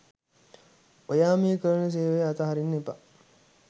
ඔයා මේ කරන සේවය අතහරින්න එපා.